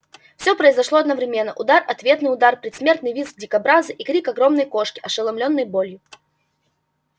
всё произошло одновременно удар ответный удар предсмертный визг дикобраза и крик огромной кошки ошеломлённой болью